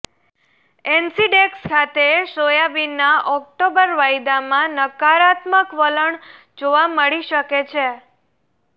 એનસીડેક્સ ખાતે સોયાબીનના ઓક્ટોબર વાયદામાં નકારાત્મક વલણ જોવા મળી શકે છે